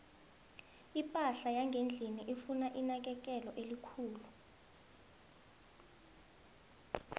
iphahla yangendlini ifuna inakekelo elikhulu